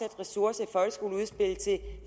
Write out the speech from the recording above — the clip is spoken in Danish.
ressourcer til